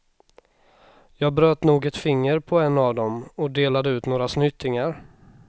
Jag bröt nog ett finger på en av dem och delade ut några snytingar.